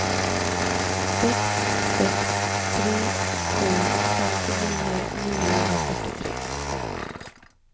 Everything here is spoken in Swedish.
sex sex tre sju femtionio niohundrafyrtiotre